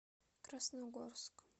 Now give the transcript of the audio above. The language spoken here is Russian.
красногорск